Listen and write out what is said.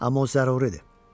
Amma o zəruridir.